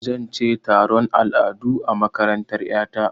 Zan ce taron al'adu a makarantar ƴa ta.